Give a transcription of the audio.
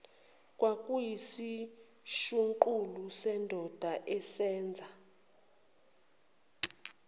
kwakuyisishuqula sendoda eseza